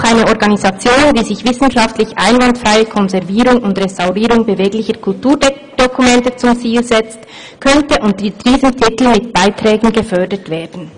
Auch eine Organisation, die sich die wissenschaftlich einwandfreie Konservierung und Restaurierung beweglicher Kulturdokumente zum Ziel setzt, könnte unter diesem Titel mit Beiträgen gefördert werden.